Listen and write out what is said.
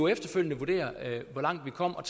efterfølgende vurdere hvor langt vi kom og